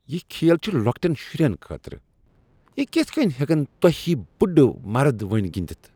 یہ کھیل چھ لوکٹِین شرین خٲطرٕ۔ یہ کتھ کٔنۍ ہیکن تۄہہ ہوۍ بُڑٕ مرد وٕنہ تہ گنٛدتھ؟